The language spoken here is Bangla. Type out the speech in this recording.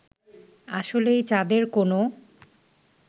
আসলেই চাঁদের কোন